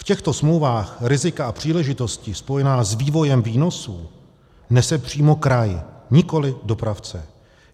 V těchto smlouvách rizika a příležitosti spojená s vývojem výnosů nese přímo kraj, nikoliv dopravce.